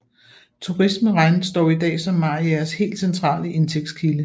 Turisme regnes dog i dag som Mariagers helt centrale indtægtskilde